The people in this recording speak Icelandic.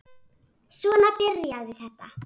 Svona byrjaði þetta.